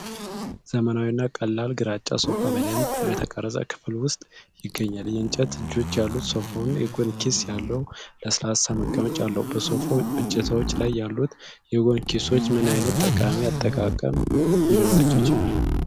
ዘመናዊ እና ቀላል ግራጫ ሶፋ በደንብ በተቀረጸ ክፍል ውስጥ ይገኛል። የእንጨት እጆች ያሉት ሶፋው የጎን ኪስ ያለው ለስላሳ መቀመጫ አለው። በሶፋው እጀታዎች ላይ ያሉት የጎን ኪሶች ምን ዓይነት ጠቃሚ አጠቃቀም ሊኖራቸው ይችላል?